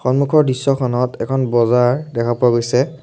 সন্মুখৰ দৃশ্যখনত এখন বজাৰ দেখা পোৱা গৈছে।